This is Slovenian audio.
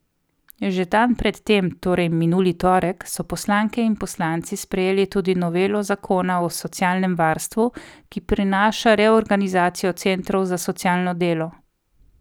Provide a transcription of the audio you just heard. Že dan pred tem, torej minuli torek, so poslanke in poslanci sprejeli tudi novelo zakona o socialnem varstvu, ki prinaša reorganizacijo centrov za socialno delo.